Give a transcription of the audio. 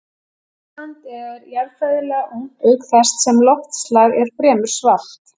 Ísland er jarðfræðilega ungt auk þess sem loftslag er fremur svalt.